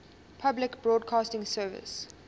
public broadcasting service